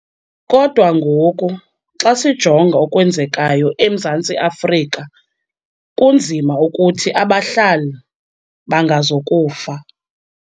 Kodwa ngoku, xa sijonga okwenzekayo eMzantsi Afrika, kunzima ukuthi abahlali bangazukufa.